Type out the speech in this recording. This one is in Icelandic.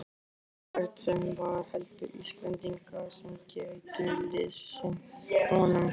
Ekki hvern sem var, heldur Íslendinga sem gætu liðsinnt honum.